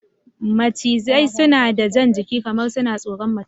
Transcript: Snake slither as though they're shy